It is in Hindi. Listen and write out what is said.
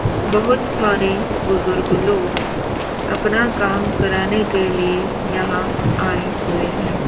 बहुत सारे बुजुर्ग लोग अपना काम कराने के लिए यहां आए हुए हैं।